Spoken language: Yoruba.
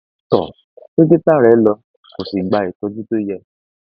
tọ dókítà rẹ lọ kó o sì gba ìtọjú tó yẹ